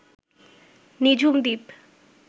Nijhum Dwip